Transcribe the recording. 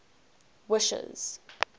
wishes